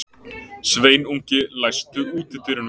Sveinungi, læstu útidyrunum.